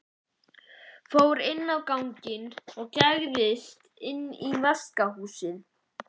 Fór aftur inn á ganginn og gægðist inn í vaskahúsið.